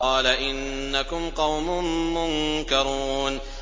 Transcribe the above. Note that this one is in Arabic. قَالَ إِنَّكُمْ قَوْمٌ مُّنكَرُونَ